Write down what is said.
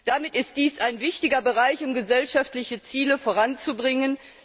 Damit ist dies ein wichtiger Bereich, um gesellschaftliche Ziele voranzubringen.